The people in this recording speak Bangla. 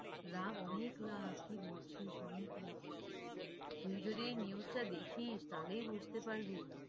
লাভ, অনেক লাভ কি বলছিস অনেক লাভ, তুই যদি news টা দেখিস তাহলেই বুঝতে পারবি,